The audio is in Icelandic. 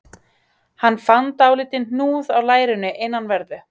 Hann fann dálítinn hnúð á lærinu innanverðu